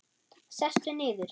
Sestu niður.